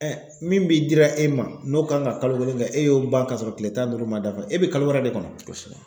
min bi dira e ma n'o kan ka kalo kelen kɛ e y'o ban ka sɔrɔ kile tan ni duuru man dafa e bɛ kalo wɛrɛ de kɔnɔ kosɛbɛ.